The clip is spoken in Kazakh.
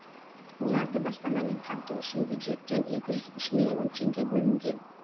оларды баспанамен қамту үшін бюджеттен екі жүз үш миллион теңге бөлінген